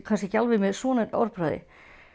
kannski ekki alveg með svona orðbragði